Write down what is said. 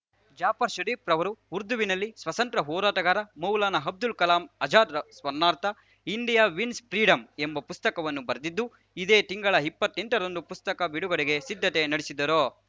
ಜಾಫರ್‌ ಷರೀಫ್‌ ರವರು ಉರ್ದುವಿನಲ್ಲಿ ಸ್ವಾತಂತ್ರ್ಯ ಹೋರಾಟಗಾರ ಮೌಲಾನಾ ಅಬ್ದುಲ್‌ ಕಲಾಂ ಅಜಾದ್‌ ಸ್ಮರಣಾರ್ಥ ಇಂಡಿಯಾ ವಿನ್ಸ್ ಫ್ರೀಡಂ ಎಂಬ ಪುಸ್ತಕವನ್ನು ಬರೆದಿದ್ದು ಇದೇ ತಿಂಗಳ ಇಪ್ಪತ್ತೆಂಟರಂದು ಪುಸ್ತಕ ಬಿಡುಗಡೆಗೆ ಸಿದ್ಧತೆ ನಡೆಸಿದ್ದರು